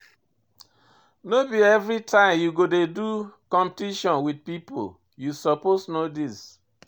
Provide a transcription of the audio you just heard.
No be everytime you go dey do competition wit pipo, you suppose know dis.